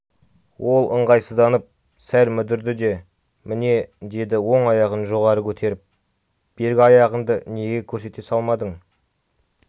ол ыңғайсызданып сәл мүдірді де міне деді оң аяғын жоғары көтеріп бергі аяғыңды неге көрсете салмадың